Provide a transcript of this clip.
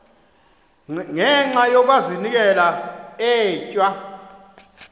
ngenxa yokazinikela etywa